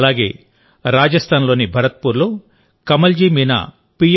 అలాగే రాజస్థాన్లోని భరత్పూర్లో కమల్జీ మీనా పి